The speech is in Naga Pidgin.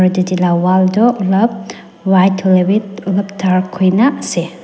aru tatae la wall tu olop white hoilae bi olop dark huina ase.